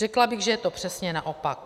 Řekla bych, že je to přesně naopak.